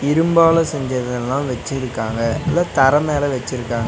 இரும்பால செஞ்சதெல்லா வெச்சிருக்காங்க. அத தர மேல வெச்சிருக்காங்க.